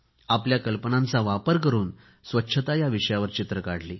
आपल्या कल्पनांचा वापर करून स्वच्छता विषयावर चित्रे काढली